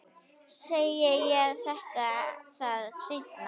Ég segi þér það seinna.